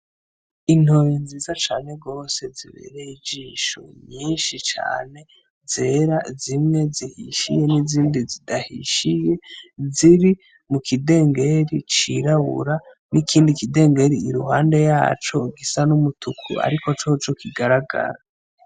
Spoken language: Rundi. Intore nziza cane gose zibereye ijisho nyinshi cane, zera zimwe zihishiye n'izindi zidahishiye ziri mukidengeri cirabura nikindi kidengeri iruhande yaco gisa numutuku ariko coco kigaragara.